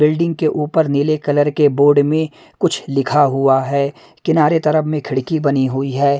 Building के ऊपर नीले कलर के बोर्ड में कुछ लिखा हुआ है किनारे तरफ में खिड़की बनी हुई है।